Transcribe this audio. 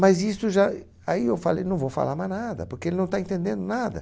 Mas isso já... Aí eu falei, não vou falar mais nada, porque ele não está entendendo nada.